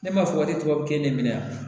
Ne b'a fɔ e tubabukɛ ne bɛ na